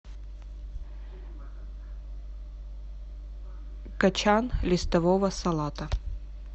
кочан листового салата